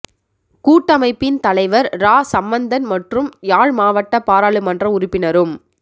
கூட்டமைப்பின் தலைவர் இரா சம்பந்தன் மற்றும் யாழ் மாவட்ட பாராளுமன்ற உறுப்பினரும்